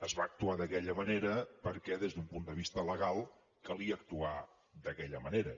es va actuar d’aquella manera perquè des d’un punt de vista legal calia actuar d’aquella manera